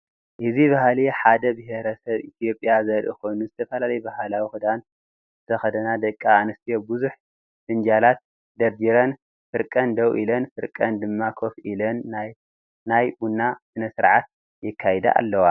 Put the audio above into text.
እዚ ባህሊ ሓደ ብሄሬሰብ ኢትዮጵያ ዘርኢ ኮይኑ ዝተፈላለየ ባህላዊ ክዳን ዝተከደና ደቂ አንስትዮ ብዙሕ ፍንጃላት ደርዲረን ፍርቀን ደው ኢለን ፍርቀን ድማ ኮፍ ኢለን ናይ ቡና ስነስርዓት የካይደ አለዋ፡፡